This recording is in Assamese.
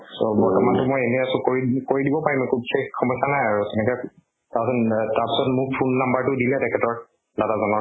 so বৰ্তমান টো মই এনে আছো কৰিম মোক কৰি দিব পাৰিম আকৌ বিশেষ সমস্য়া নাই আৰু তেনেকে ক তাৰ পিছত আ তাছত মোক phone number টো দিলে তেখেতৰ, দাদা জনৰ